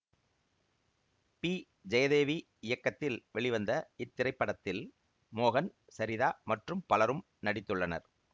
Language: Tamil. பி ஜெயதேவி இயக்கத்தில் வெளிவந்த இத்திரைப்படத்தில் மோகன் சரிதா மற்றும் பலரும் நடித்துள்ளனர்